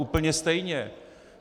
Úplně stejně.